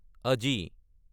আজি